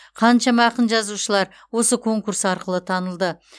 қаншама ақын жазушылар осы конкурс арқылы танылды